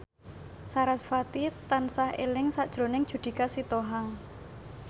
sarasvati tansah eling sakjroning Judika Sitohang